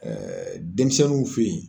Ɛɛ denmisɛnninw fe yen